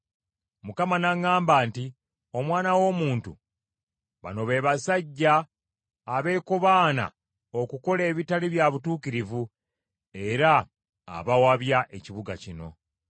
Mukama n’aŋŋamba nti, “Omwana w’omuntu, bano be basajja abeekobaana okukola ebitali bya butuukirivu era abawabya ekibuga kino.